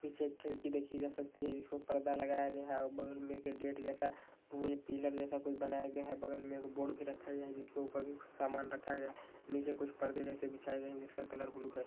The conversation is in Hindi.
पीछे एक खिड़की देखी जा सकती है जिसमें परदा लगाया गया है औ बगल में एक गेंट जैसा उए पिलर जैसा कु बनाया गया है। बगल में एक बोर्ड भी रखा गया है जिसके ऊपर सामान रखा गया नीचे कुछ परदे जैसे बिछाए गएं है जिसका कलर ब्लू है।